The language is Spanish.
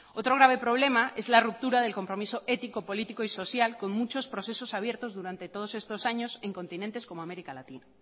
otro grave problema es la ruptura del compromiso ético político y social con muchos procesos abiertos durante todos estos años en continentes como américa latina